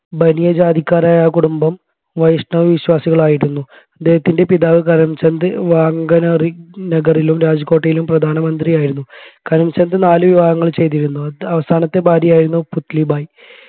ബനിയ ജാതിക്കാരായ ആ കുടുംബം വൈഷ്ണവവിശ്വാസികളായിരുന്നു അദ്ദേഹത്തിൻെറ പിതാവ്‌ കരംചന്ദ് വാങ്കനഗറിലും രാജ്കോട്ടിലെയും പ്രധാനമന്ത്രിയായിരുന്നു. കരംചന്ദ് നാലു വിവാഹങ്ങൾ ചെയ്തിരുന്നു അവസാനത്തെ ഭാര്യയായിരുന്നു പുത്‌ലിബായി